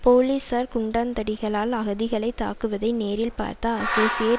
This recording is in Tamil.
போலீசார் குண்டாந்தடிகளால் அகதிகளை தாக்குவதை நேரில் பார்த்த அசோசியேட்